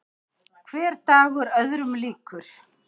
Hver dagur öðrum líkur.